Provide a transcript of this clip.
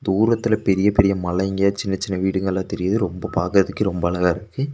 தூரத்தில பெரிய பெரிய மலைங்க சின்ன சின்ன வீடுங்கெல்லா தெரியுது ரொம்ப பாக்கதுக்கே ரொம்ப அழகா இருக்கு.